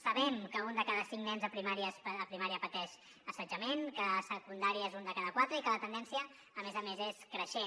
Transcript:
sabem que un de cada cinc nens a primària pateix assetjament que a secundària és un de cada quatre i que la tendència a més a més és creixent